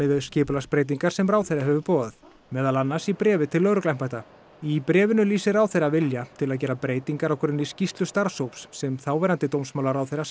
við þær skipulagsbreytingar sem ráðherra hefur boðað meðal annars í bréfi til lögregluembættanna í bréfinu lýsir ráðherra vilja til að gera breytingar á grunni skýrslu starfshóps sem þáverandi dómsmálaráðherra